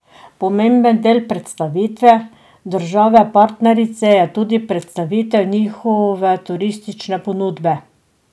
Pomemben del predstavitve države partnerice pa je tudi predstavitev njihove turistične ponudbe.